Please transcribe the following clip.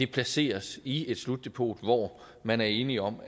placeres i et slutdepot hvor man er enige om